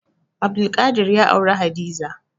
Abdulkadir ya auri Hadiza.